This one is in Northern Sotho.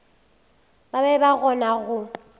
ba be ba kgona go